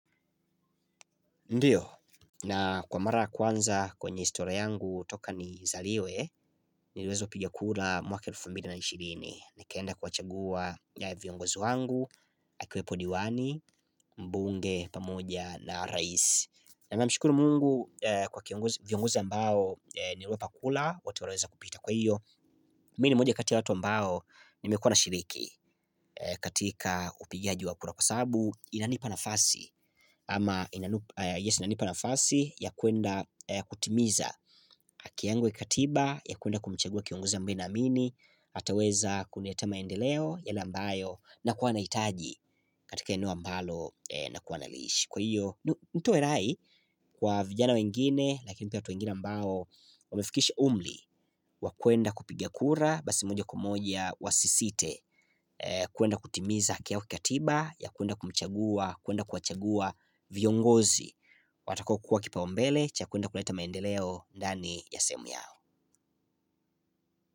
Ndiyo, na kwa mara kwanza kwenye historia yangu toka nizaliwe, niliweza piga kura mwaka elfu mbili na ishiri (2020) Nikaenda kuwachagua viongozi wangu, akiwepo diwani, mbunge, pamoja na raisi na mshukuru mungu kwa kiongozu viongoza ambao nilwepa kura, wote waliweza kupita kwahiyo. Mimi ni moja kati ya watu ambao, nimekuwa nashiriki katika upigaaji wa kura kwasababu nanipa nafasi ama yes inanipa nafasi ya kwenda kutimiza haki yangu ya katiba ya kuenda kumchagua kiongpzi ambae naamini ataweza kuleta maendeleo yale ambayo nakuwa nahitaj katika eneo ambalo nakuwa nalishi kwahiyo nitoe rai kwa vijana wengine lakini pia kwa watu wengine ambao wamefikishi umri kwa kwenda kuoiga kura basi moja mija kwa moja wasisite kwenda kutimiza haki yao ya kikatiba ya kuenda kumchagua kuenda kuwachagua viongozi Watakokuwa kipaumbele cha kuenda kuleta maendeleo ndani ya sehemu u yao.